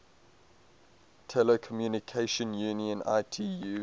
telecommunication union itu